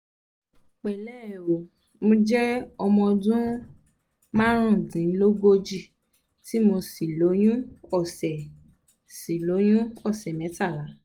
pẹ̀lẹ́ ẹ o mo jẹ́ ọmọ ọdún marundinlogoji tí mo sì lóyún ọsẹ̀ sì lóyún ọsẹ̀ metala